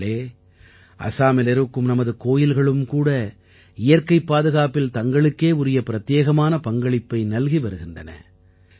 நண்பர்களே அசாமிலிருக்கும் நமது கோயில்களும் கூட இயற்கைப் பாதுகாப்பில் தங்களுக்கே உரிய பிரத்யேகமான பங்களிப்பை நல்கி வருகின்றன